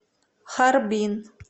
харбин